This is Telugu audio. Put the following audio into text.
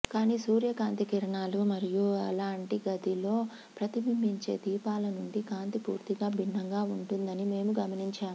కానీ సూర్యకాంతి కిరణాలు మరియు అలాంటి గదిలో ప్రతిబింబించే దీపాల నుండి కాంతి పూర్తిగా భిన్నంగా ఉంటుందని మేము గమనించాము